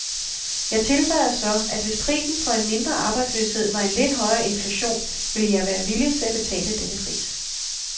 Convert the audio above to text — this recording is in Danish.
Jeg tilføjede så, at hvis prisen for en mindre arbejdsløshed var en lidt højere inflation, ville jeg være villig til at betale denne pris.